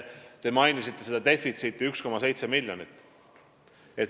Te mainisite seda defitsiiti, 1,7 miljonit.